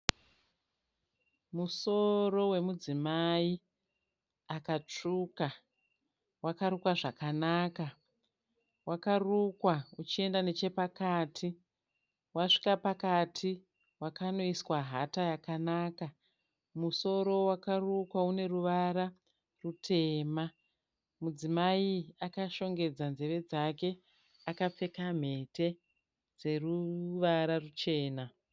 Musoro wemudzimai akatsvuka. Wakarukwa zvakanaka. Wakarukwa uchienda nechepakati, wasvika pakati wakanoiswa hata yakanaka. Musoro wakarukwa une ruvara rutema. Mudzimai akashongedza nzeve dzake akapfeka mhete dzeruvara ruchena.